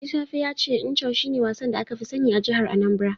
Ajisafe ya ce Ncho shine wasan da aka fi sani a jihar Anambra.